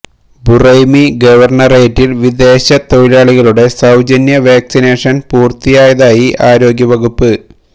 Buraimi ഗവര്ണറേറ്റില് വിദേശ തൊഴിലാളികളുടെ സൌജന്യ വാക്സിനേഷന് പൂര്ത്തിയായതായി ആരോഗ്യ വകുപ്പ്